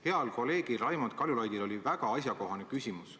Heal kolleegil Raimond Kaljulaidil oli väga asjakohane küsimus.